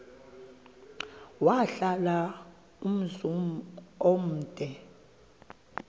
wahlala umzum omde